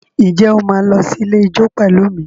Ǹjẹ́ o máa lọ sí ilé ijó pẹ̀lú mi?